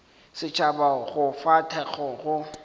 setšhaba go fa thekgo go